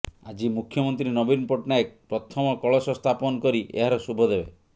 ଆଜି ମୁଖ୍ୟମନ୍ତ୍ରୀ ନବୀନ ପଟ୍ଟନାୟକ ପ୍ରଥମ କଳସ ସ୍ଥାପନ କରି ଏହାର ଶୁଭ ଦେବେ